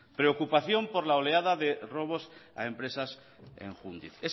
preocupación por la oleada de robos a empresas en jundiz